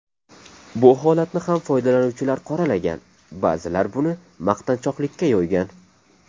Bu holatni ham foydalanuvchilar qoralagan, ba’zilar buni maqtanchoqlikka yo‘ygan.